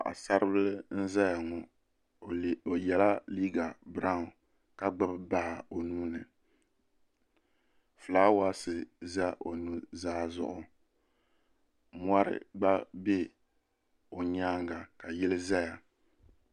Paɣasari bili n ʒɛya ŋo o yɛla liiga biraawn ka gbubi baa o nuuni fulaawaasi ʒɛ o nuzaa zuɣu mori gba bɛ o nyaanga ka yili ʒɛya